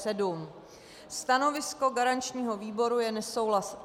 Stanovisko garančního výboru je nesouhlasné.